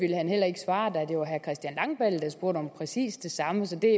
han heller ikke svare da det var herre christian langballe der spurgte om præcis det samme så det